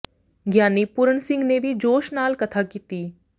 ਗਿਆਨੀ ਪੂਰਨ ਸਿੰਘ ਨੇ ਵੀ ਜੋਸ਼ ਨਾਲ ਕਥਾ ਕੀਤੀ